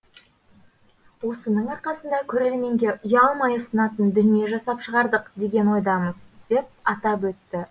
осының арқасында көрерменге ұялмай ұсынатын дүние жасап шығардық деген ойдамыз деп атап өтті